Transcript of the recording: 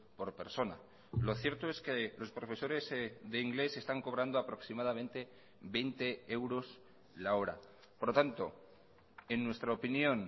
por persona lo cierto es que los profesores de inglés se están cobrando aproximadamente veinte euros la hora por lo tanto en nuestra opinión